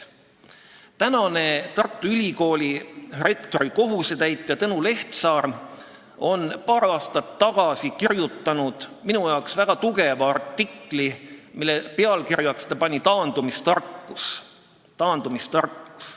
Praegune Tartu Ülikooli rektori kohusetäitja Tõnu Lehtsaar kirjutas paar aastat tagasi minu arvates väga sisuka artikli, mille pealkirjaks ta pani "Taandumistarkus".